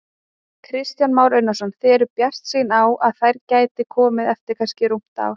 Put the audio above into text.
Kristján Már Unnarsson: Þið eruð bjartsýn á að þær gæti komið eftir kannski rúmt ár?